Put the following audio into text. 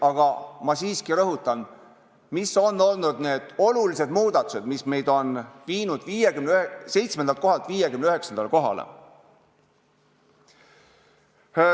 Aga ma siiski rõhutan, mis on olnud need olulised muudatused, mis on meid viinud 7. kohalt 59. kohale.